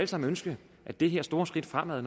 sammen ønske at det her store skridt fremad